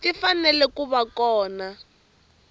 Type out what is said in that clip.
ti fanele ku va kona